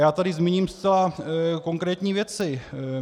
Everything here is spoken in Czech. Já tu zmíním zcela konkrétní věci.